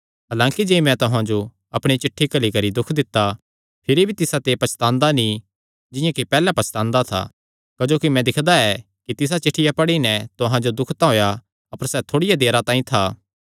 हलांकि जे मैं तुहां जो अपणी चिठ्ठी घल्ली करी दुख दित्ता भिरी भी तिसाते पछतांदा नीं जिंआं कि पैहल्ले पछतांदा था क्जोकि मैं दिक्खदा ऐ कि तिसा चिठ्ठिया पढ़ी नैं तुहां जो दुख तां होएया अपर सैह़ थोड़िया देरा तांई था